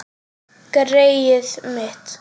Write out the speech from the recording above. Greyið mitt